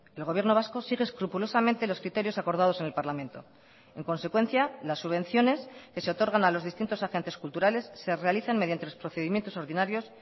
el gobierno vasco sigue escrupulosamente los criterios acordados en el parlamento en consecuencia las subvenciones que se otorgan a los distintos agentes culturales se realizan mediante los procedimientos ordinarios